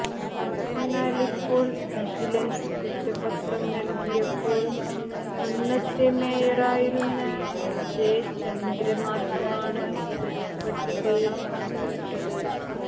എന്നാൽ ഇപ്പോൾ വിജിലൻസ് കുറ്റപത്രം നൽകിയപ്പോൾ അന്നത്തെ മേയറായിരുന്ന ജെ ചന്ദ്ര മാത്രമാണ് പ്രതിപ്പട്ടികയിൽ ഉൾപ്പെട്ടത്